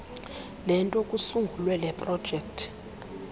lento kusungulwe leprojekthi